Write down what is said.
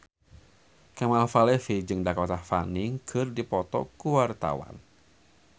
Kemal Palevi jeung Dakota Fanning keur dipoto ku wartawan